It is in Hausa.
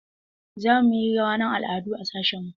Za mu yi ranar al'adu a sashin mu.